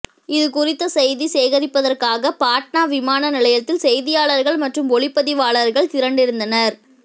இதுகுறித்த செய்தி சேகரிப்பதற்காக பாட்னா விமான நிலையத்தில் செய்தியாளர்கள் மற்றும் ஒளிப்பதிவாளர்கள் திரண்டிருந்தனர்